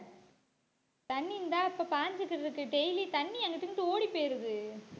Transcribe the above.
தண்ணி இந்தா இப்ப பாஞ்சுக்கிட்டு இருக்கு. daily தண்ணி அங்கிட்டு இங்கிட்டு ஓடிப் போயிறுது.